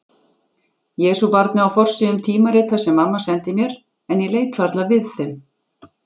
Jesúbarnið á forsíðum tímarita sem mamma sendi mér en ég leit varla við þeim.